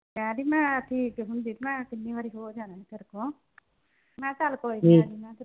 ਕਹਿੰਦੀ ਮੈਂ ਠੀਕ ਹੁੰਦੀ। ਮੈਂ ਕਿੰਨੀ ਵਾਰੀ ਹੋ ਜਾਂਦੀ ਤੇਰੇ ਕੋਲ। ਮੈਂ ਕਿਹਾ ਚੱਲ ਕੋਈ .